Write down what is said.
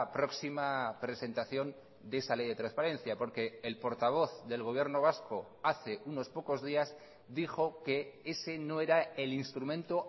próxima presentación de esa ley de transparencia porque el portavoz del gobierno vasco hace unos pocos días dijo que ese no era el instrumento